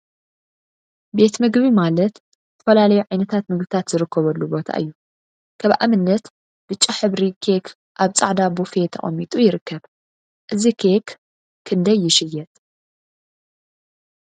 ቤት ምግቢ ቤት ምግቢ ማለት ዝተፈላለዩ ዓይነት ምግቢታት ዝርከብሉ ቦታ እዩ፡፡ ከም አብነት ብጫ ሕብራዊ ሕብሪ ኬክ አብ ፃዕዳ ቦፌ ተቀሚጡ ይርከብ፡፡ እዚ ኬክ ክንደይ ይሽየጥ?